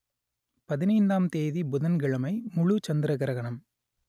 பதினைந்தாம் தேதி புதன்கிழமை முழு சந்திர கிரகணம்